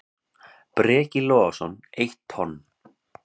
Breki Logason: Eitt tonn?